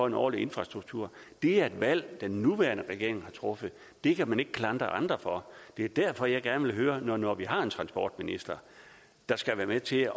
en ordentlig infrastruktur det er et valg den nuværende regering har truffet det kan man ikke klandre andre for det er derfor jeg gerne vil høre når vi nu har en transportminister der skal være med til at